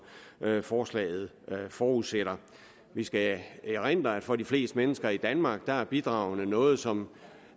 forslaget forudsætter vi skal erindre at for de fleste mennesker i danmark er er bidragene noget som